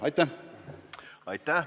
Aitäh!